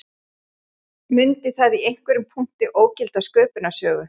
Mundi það í einhverjum punkti ógilda sköpunarsögu